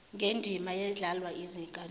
ngendima edlalwa yizinkantolo